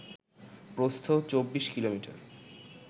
প্রস্থ ২৪ কিমি